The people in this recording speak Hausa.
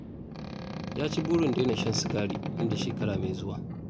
Ya ci burin daina shan sigari nan da shekara mai zuwa